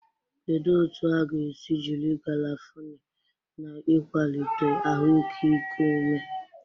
Kedu otu a ga-esi jiri garafuni na ịkwalite ahụike iku ume?